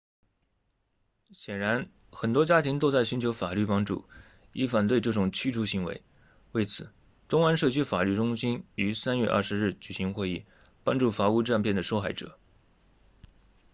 显然很多家庭都在寻求法律帮助以反对这种驱逐行为为此东湾社区法律中心于3月20日举行会议帮助房屋诈骗的受害者